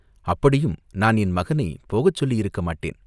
அப்படியும் நான் என் மகனைப் போகச் சொல்லியிருக்கமாட்டேன்.